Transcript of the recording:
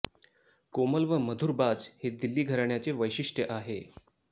कोमल व मधुर बाज हे दिल्ली घराण्याचे वैशिष्ट्य आहे